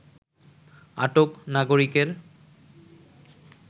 আটক নাগরিকের